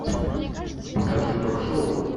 покажи ток шоу